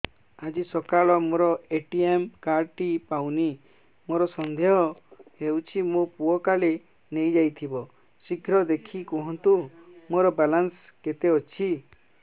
ଆଜି ସକାଳେ ମୋର ଏ.ଟି.ଏମ୍ କାର୍ଡ ଟି ପାଉନି ମୋର ସନ୍ଦେହ ହଉଚି ମୋ ପୁଅ କାଳେ ନେଇଯାଇଥିବ ଶୀଘ୍ର ଦେଖି କୁହନ୍ତୁ ମୋର ବାଲାନ୍ସ କେତେ ଅଛି